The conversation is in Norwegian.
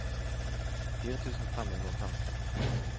fire tusen fem hundre og femti